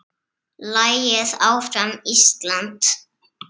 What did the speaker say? Lagið Áfram Ísland!